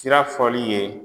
Sira fɔli ye